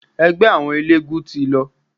Ẹgbẹ́ àwọn eléegún ti lọ.